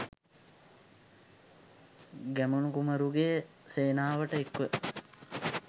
ගැමුණු කුමරුගේ සේනාවට එක්ව